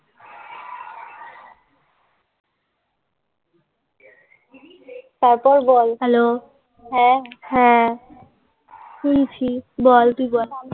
তারপর বল হ্যালো হ্যাঁ বল তুই বল.